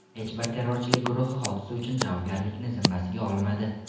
Hech bir terrorchilik guruhi hodisa uchun javobgarlikni zimmasiga olmadi.